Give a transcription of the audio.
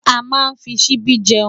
Amá nfí ṣìbi jèún